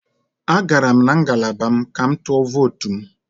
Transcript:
Agara m na ngalaba m ka m tụọ votu m